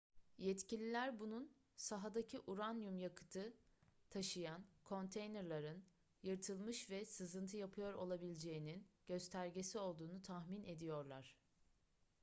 yetkililer bunun sahadaki uranyum yakıtı taşıyan konteynerlerin yırtılmış ve sızıntı yapıyor olabileceğinin göstergesi olduğunu tahmin ediyorlar